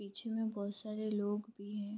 पीछे में बहोत सारे लोग भी है।